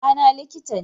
Baba na liƙita ne